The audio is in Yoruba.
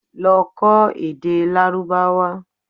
Lọ kọ́ èdè Lárúbáwá!